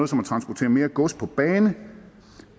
som at transportere gods på bane